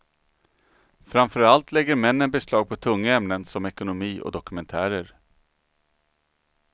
Framför allt lägger männen beslag på tunga ämnen som ekonomi och dokumentärer.